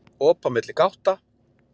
Op á milli gátta